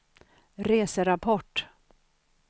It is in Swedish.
reserapport